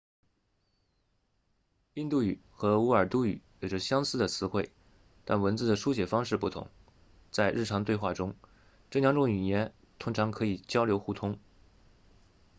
印度语和乌尔都语有着相似的词汇但文字的书写方式不同在日常对话中这两种语言通常可以交流互通